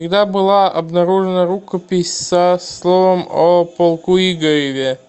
когда была обнаружена рукопись со словом о полку игореве